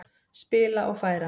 Spila og færa.